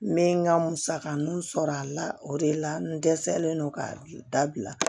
N bɛ n ka musakaninw sɔrɔ a la o de la n dɛsɛlen don ka dabila